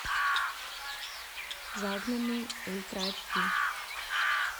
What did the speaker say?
загнанный ультра айч ди